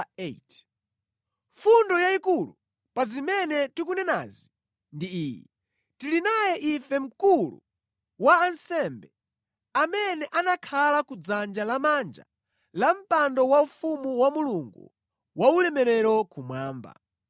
Fundo yayikulu pa zimene tikunenazi ndi iyi: Tili naye ife Mkulu wa ansembe, amene anakhala ku dzanja lamanja la mpando waufumu wa Mulungu Waulemerero kumwamba.